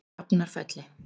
Drafnarfelli